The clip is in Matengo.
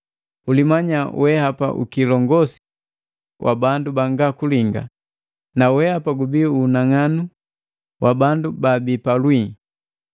Ulimanya wehapa ukilongosi wa bandu banga kulinga na wehapa unang'anu wa bandu baabii palwii,